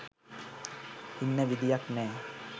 ඉන්න විදියක් නෑ.